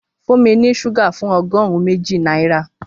Fún mi ní ṣúgà fún ọgọ́rùn-ún méjì náírà